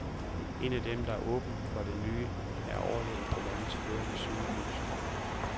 En af dem, der er åben for det nye, er overlægen på landets førende sygehus.